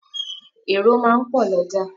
Èrò máà ń pò l'ójà